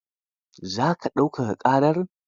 Za ka daukaka ƙarar?